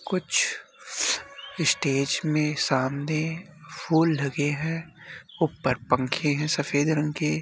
कुछ स्टेज में सामने फूल लगे हैं ऊपर पंखे हैं सफ़ेद रंग के।